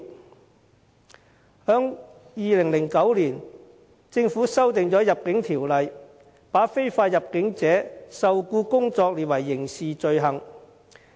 政府在2009年修訂《入境條例》，把非法入境者受僱工作列為刑事罪行。